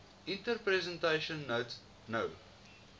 interpretation note no